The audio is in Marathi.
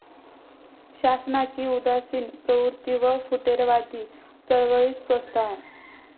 शासनाची उदासीन प्रवृत्ती व फुटीरवादी चळवळीस प्रोत्साहन